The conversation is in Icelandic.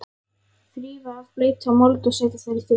Þrífa af bleytu og mold og setja þær í þurrt.